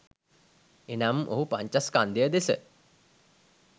එනම් ඔහු පංචස්කන්ධය දෙස